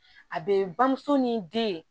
A bɛ bamuso ni den